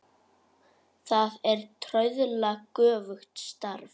Það er trauðla göfugt starf.